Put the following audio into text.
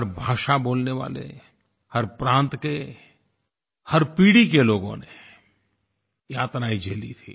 हर भाषा बोलने वाले हर प्रांत के हर पीढ़ी के लोगों ने यातनाएँ झेली थी